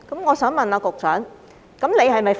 我想問局長，他是否"佛系"？